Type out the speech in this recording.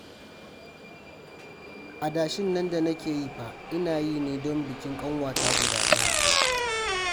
Adashin nan da nake yi fa, ina yi ne don bikin ƙanwata guda ɗaya